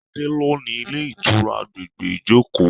Adé lo ni ilé ìtura àgbègbè Ijoko.